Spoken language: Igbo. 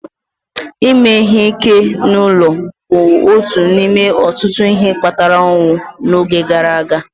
Ime ihe ike n'ezinụlọ bụ otu n'ime ọtụtụ ihe kpatara ọnwụ n'oge gara aga